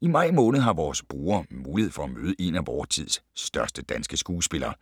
I maj måned har vores brugere mulighed for at møde en af vor tids største danske skuespillere.